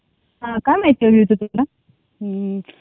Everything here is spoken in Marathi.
हा काय महती हवी होती तुला.